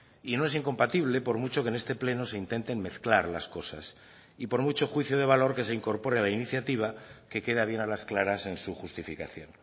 y no es incompatible por mucho que en este pleno se intenten mezclar las cosas y por mucho juicio de valor que se incorpore a la iniciativa que queda bien a las claras en su justificación